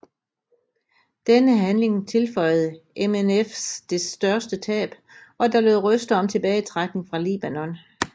Denne handling tilføjede MNF dets største tab og der lød røster om tilbagetrækning fra Libanon